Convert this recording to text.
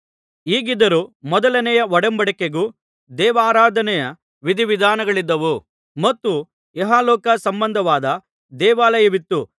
ಹೀಗಿದ್ದರೂ ಮೊದಲನೆಯ ಒಡಂಬಡಿಕೆಗೂ ದೇವಾರಾಧನೆಯ ವಿಧಿವಿಧಾನಗಳಿದ್ದವು ಮತ್ತು ಇಹಲೋಕ ಸಂಬಂಧವಾದ ದೇವಾಲಯವಿತ್ತು